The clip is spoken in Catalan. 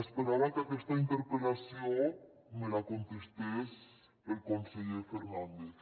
esperava que aquesta interpel·lació me la contestés el conseller fernàndez